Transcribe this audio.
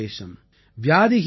அக்நி சேஷம் ருண சேஷம்